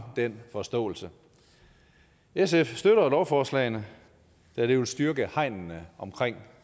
den forståelse sf støtter lovforslagene da det vil styrke hegnene omkring